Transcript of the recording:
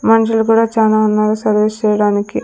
మన్షులు కూడా చానా ఉన్నారు సర్వీస్ చేయడానికి.